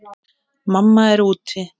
Mamma er úti.